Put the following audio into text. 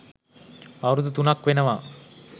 අවුරුදු තුනක් වෙනවා.